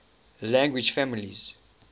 language families